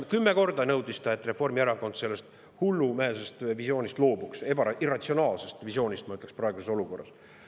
–, kümme korda nõudis ta, et Reformierakond loobuks sellest hullumeelsest visioonist, irratsionaalsest visioonist, ütleksin ma praeguses olukorras.